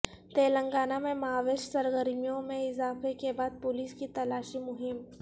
تلنگانہ میں ماویسٹ سرگرمیوں میں اضافہ کے بعد پولیس کی تلاشی مہم